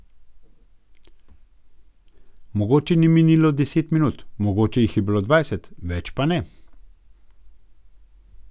Mogoče ni minilo deset minut, mogoče jih je bilo dvajset, več pa ne.